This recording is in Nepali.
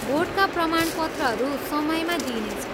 बोर्डका प्रमाणपत्रहरू समयमा दिइनेछ।